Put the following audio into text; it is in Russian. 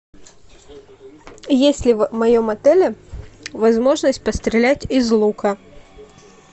есть ли в моем отеле возможность пострелять из лука